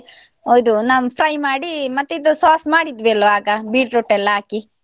ಓ ಇದು ನಾವು fry ಮಾಡಿ, ಮತ್ತೆ ಇದು sauce ಮಾಡಿದ್ವಿ ಅಲ್ಲ ಆಗ beetroot ಎಲ್ಲ ಹಾಕಿ.